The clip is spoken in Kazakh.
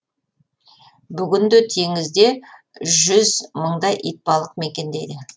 бүгінде теңізде жүз мыңдай итбалық мекендейді